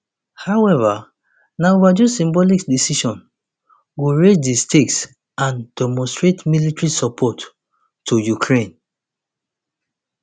however na overdue symbolic decision to raise di stakes and demonstrate military support to ukraine